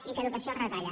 i que educació els retalla